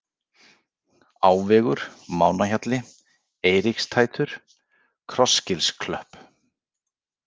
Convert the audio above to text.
Áveggur, Mánahjalli, Eiríkstættur, Krossgilsklöpp